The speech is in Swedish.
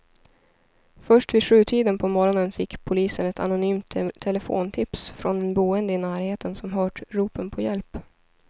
Först vid sjutiden på morgonen fick polisen ett anonymt telefontips från en boende i närheten som hört ropen på hjälp.